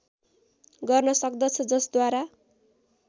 गर्न सक्दछ जसद्वारा